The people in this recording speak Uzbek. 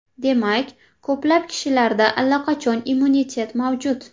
Demak, ko‘plab kishilarda allaqachon immunitet mavjud.